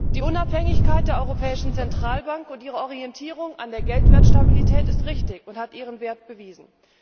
Die Unabhängigkeit der Europäischen Zentralbank und ihre Orientierung an der Geldwertstabilität ist richtig und hat ihren Wert bewiesen.